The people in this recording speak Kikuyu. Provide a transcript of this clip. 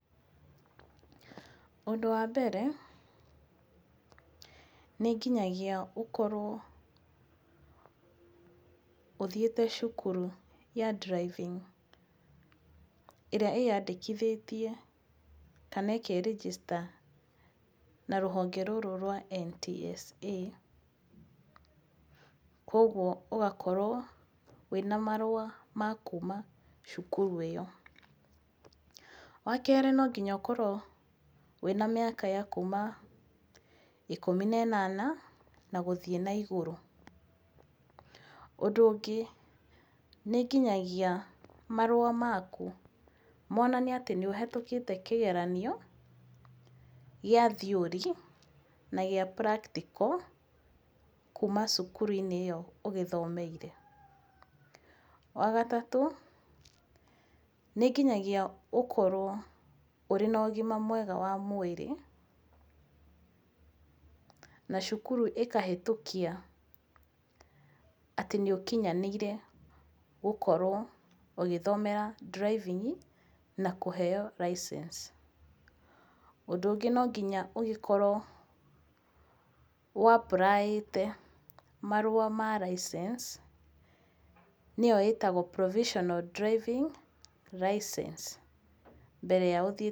Ũndũ wa mbere, nĩ nginyagia ũkorwo ũthiĩte cukuru ya driving ĩrĩa ĩyandĩkithĩtie kana ĩke register na rũhonge rũrũ rwa NTSA, kuoguo ũgakorwo wĩna marũa ma kuma cukuru ĩyo. Wakerĩ no nginya ũkorwo wĩna mĩaka ya kuma ikũmi na ĩnana na gũthiĩ na igũrũ. Ũndũ ũngĩ, nĩ nginyagia marũa maku monanie atĩ nĩũhĩtũkĩte kĩgeranio gĩa theory na gĩa practical kuma cukuru-inĩ ĩyo ũgĩthomeire. Wagatatũ, nĩnginyagia ũkorwo ũrĩ na ũgima mwega wa mwĩrĩ na cukuru ĩkahĩtũkia atĩ nĩũkinyanĩire gũkorwo ũgĩthomera driving na kũheo licence. Ũndũ ũngĩ no nginya ũgĩkorwo ũ apply ĩte marũa ma lisence nĩyo ĩtagwo Provisional Driving lisence mbere ya ũthiĩ.